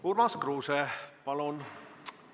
Urmas Kruuse, palun!